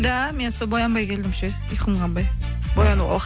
да мен сол боянбай келдім ше ұйқым қанбай боянуға уақыт